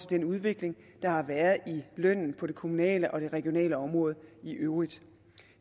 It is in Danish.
den udvikling der har været i lønnen på det kommunale og det regionale område i øvrigt